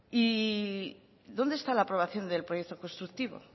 y dónde está la aprobación del proyecto constructivo